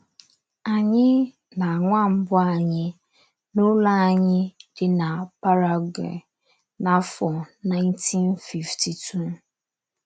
Anyị na nwa mbụ anyị, n’ụlọ anyị dị na Paraguay, n’afọ 1952.